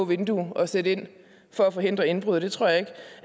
vindue at sætte ind for at forhindre indbrud og det tror jeg ikke